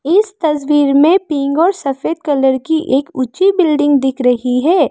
इस तस्वीर में पिंग और सफेद कलर की एक ऊंची बिल्डिंग दिख रही है।